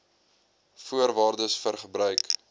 voorwaardes vir gebruik